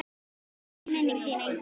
Blessuð sé minning þín engill.